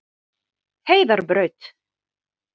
Heiðarbraut